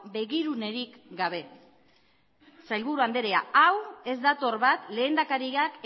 begirunerik gabe sailburu andrea hau ez dator bat lehendakariak